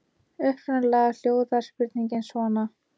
Upprunalega hljóðar spurningin svona: